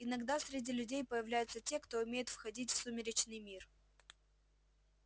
иногда среди людей появляются те кто умеет входить в сумеречный мир